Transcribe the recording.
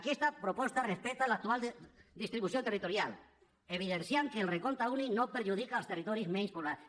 aquesta proposta respecta l’actual distribució territorial i evidencia que el recompte únic no perjudica els territoris menys poblats